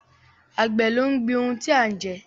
Àgbẹ̀ ló ń gbin ohun tí a ń jẹ